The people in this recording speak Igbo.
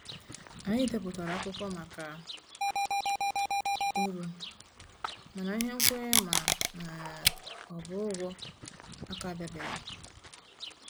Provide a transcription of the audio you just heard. Anyị depụtara akwụkwọ maka uru, mana ihe nkwenye ma um ọ bụ ụgwọ a ka bịabeghị.